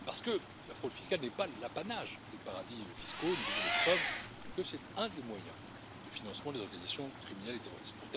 En effet, la fraude fiscale n'est pas l'apanage des paradis fiscaux, et nous avons des preuves que c'est un des moyens de financement des organisations criminelles et terroristes.